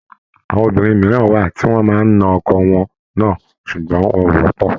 Àwọn obìnrin mìíràn wà tí wọ́n máa ń na ọkọ wọn náà, sùgbọ́n wọn ò wọ́pọ̀